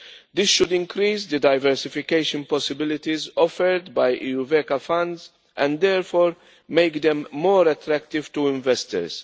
This should increase the diversification possibilities offered by EuVECA funds and therefore make them more attractive to investors.